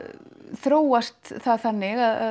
þróast það þannig að